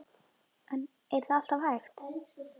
En er það alltaf hægt?